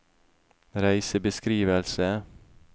reisebeskrivelse